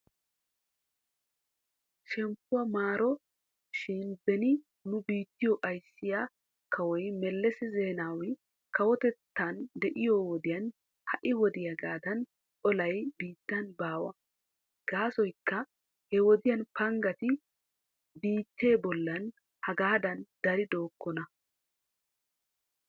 Shemppuwaa maaro shin beni nu biittiyo ayssiyaa kawoy Meles Zeenawi kawotettan de'iyoo wodiyan ha'i wodiyaagaadan olay biittan baa. Gaasoykka hewodiyan panggati biittee bollan hegaadan dari dookona.